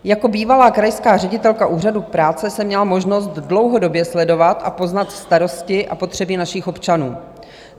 Jako bývalá krajská ředitelka Úřadu práce jsem měla možnost dlouhodobě sledovat a poznat starosti a potřeby našich občanů.